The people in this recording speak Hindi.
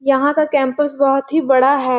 यहाँ का कैम्पस बहुत ही बड़ा हैं ।